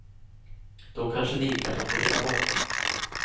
Då kanske det gick att operera bort.